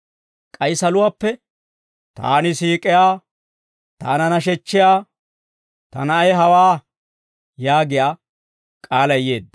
k'ay saluwaappe, «Taani siik'iyaa, taana nashechchiyaa, ta Na'ay hawaa» yaagiyaa k'aalay yeedda.